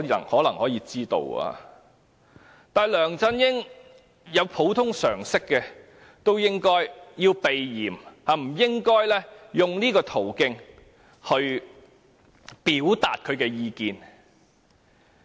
可是，如果梁振英有普通常識也應避嫌，不應用這種途徑表達他的意見。